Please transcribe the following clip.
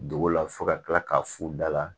Dugu la fo ka kila ka fu da la